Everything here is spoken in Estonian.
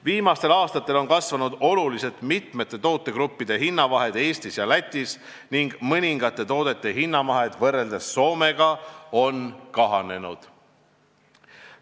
Viimastel aastatel on oluliselt kasvanud mitme tootegrupi hinnavahe Eesti ja Läti hindade võrdluses ning mõningate toodete hinnavahe võrreldes Soomega on kahanenud.